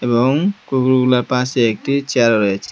এবং কুকুরগুলার পাশে একটি চেয়ার রয়েছে।